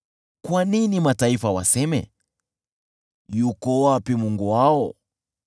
Kwa nini mataifa waseme, “Yuko wapi Mungu wao?”